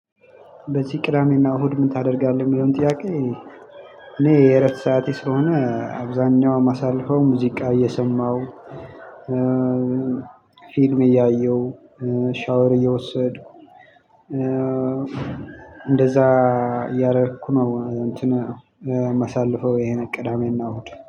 በዚህ ቅዳሜና እሁድ ምን ታደርጋለህ? የሚለውን ጥያቄ ሁሌ የእረፍት ሰዓቴ ስለሆነ አብዛኛው ማሳልፈው ሙዚቃ እየሰማው ፊልም እያየው ሻወር እየወሰድኩ እንደዛ እያረኩ ነው። ማሳልፈው ቅዳሜ እና እሁድ